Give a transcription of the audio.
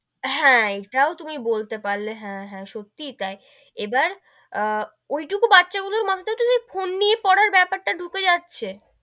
হ্যা, এটাও তুমি বলতে পারলে হ্যা হ্যা, সত্যিই তাই, এবার আহ ঐটুকু বাচ্চা গুলোর মাথায় ফোন নিয়ে পড়ার বেপার টা ডুকে যাচ্ছে,